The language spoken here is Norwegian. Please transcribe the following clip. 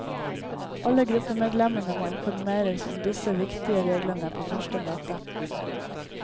Alle gruppemedlemmene må informeres om disse viktige reglene på første møte.